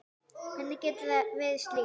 Hvernig gerum við slíkt?